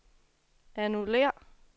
annullér